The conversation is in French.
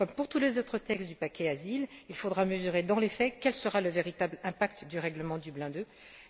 Comme pour tous les autres textes du paquet asile, il faudra mesurer dans les faits le véritable impact du règlement Dublin II.